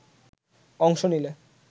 অংশ নিলে